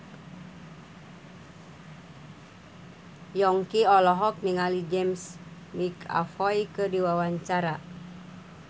Yongki olohok ningali James McAvoy keur diwawancara